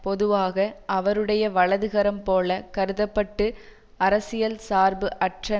பொதுவாக அவருடைய வலதுகரம் போலக் கருத பட்டு அரசியல் சார்பு அற்ற